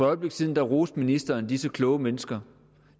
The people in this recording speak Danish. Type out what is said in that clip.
øjeblik siden roste ministeren disse kloge mennesker